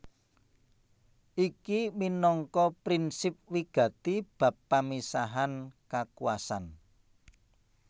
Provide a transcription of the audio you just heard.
Iki minangka prinsip wigati bab pamisahan kakuwasan